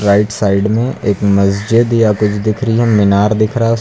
right side में एक मस्जिद या कुछ दिख रही है मीनार दिख रहा उस--